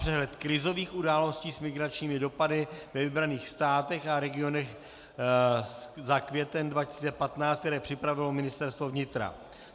Přehled krizových událostí s migračními dopady ve vybraných státech a regionech za květen 2015, které připravilo Ministerstvo vnitra.